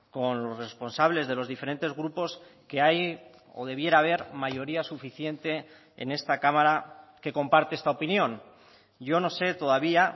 con los responsables de los diferentes grupos que hay o debiera haber mayoría suficiente en esta cámara que comparte esta opinión yo no sé todavía